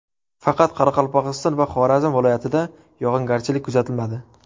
Faqat Qoraqalpog‘iston va Xorazm viloyatida yog‘ingarchilik kuzatilmadi.